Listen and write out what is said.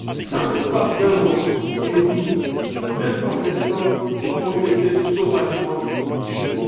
Dans l'espace d'un mois et demi, deux cents personnes ont été sauvagement tuées.